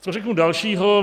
Co řeknu dalšího?